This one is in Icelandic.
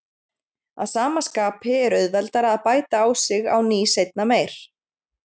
Að sama skapi er auðveldara að bæta á sig á ný seinna meir.